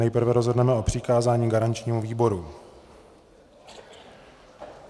Nejprve rozhodneme o přikázání garančnímu výboru.